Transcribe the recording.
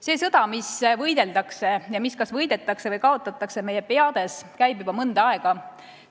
See sõda, mida võideldakse ja mis kas võidetakse või kaotatakse meie peades, käib juba mõnda aega.